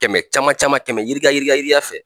Kɛmɛ caman caman kɛmɛ yirika yirika yirika fɛ.